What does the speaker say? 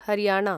Haryana